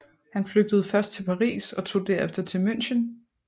Han flygtede først til Paris og tog derefter til München